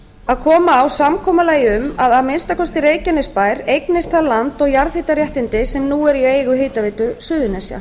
að koma á samkomulagi um að að minnsta kosti reykjanesbær eignist það land og jarðhitaréttindi sem nú er í eigu hitaveitu suðurnesja